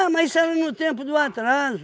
mas isso era no tempo do atraso.